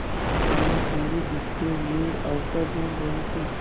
और भानुकुँवरि इसके लिए अवसर ढूँढ़ रही थी